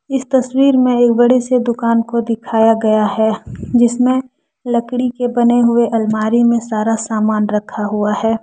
इस तस्वीर में एक बड़ी सी दुकान को दिखाया गया हैं जिसमें लकड़ी के बने हुए अलमारी में सारा सामान रखा हुआ है।